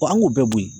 an b'o bɔ yen